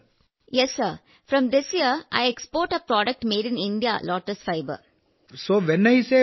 വിജയശാന്തി അതെ സർ ഈ വർഷം മുതൽ ഞാൻ ഇന്ത്യയിൽ നിർമ്മിച്ച ഞങ്ങളുടെ ഉൽപ്പന്നം ലോട്ടസ് ഫൈബർ കയറ്റുമതി ചെയ്യുന്നു